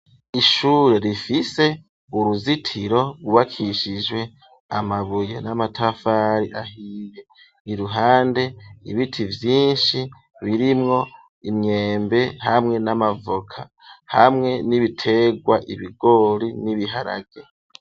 Ishure rifise uruzitiro rwukishijwe amabuye n'amatafari ahiye, iruhande ibiti vyinshi birimwo imyembe hamwe n'amavoka, hamwe n'ibitegwa ibigori n'ibiharage.